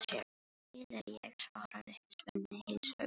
Til er ég, svarar Svenni heils hugar.